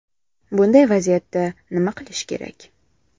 Bunday vaziyatda nima qilish kerak?